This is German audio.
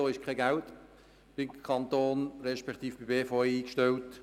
Dafür ist auch kein Geld beim Kanton respektive bei der BVE reserviert.